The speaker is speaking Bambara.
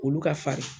Olu ka farin